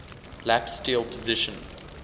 lap steel position